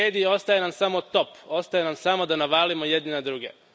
Ako ne vrijedi, ostaje nam samo top, ostaje nam samo da navalimo jedni na druge.